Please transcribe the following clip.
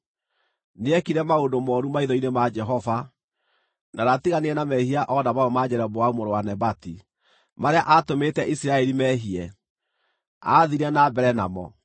Nĩekire maũndũ mooru maitho-inĩ ma Jehova, na ndaatiganire na mehia o na mamwe ma Jeroboamu mũrũ wa Nebati, marĩa aatũmĩte Isiraeli meehie; aathiire na mbere namo.